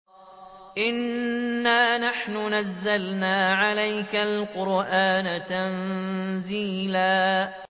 إِنَّا نَحْنُ نَزَّلْنَا عَلَيْكَ الْقُرْآنَ تَنزِيلًا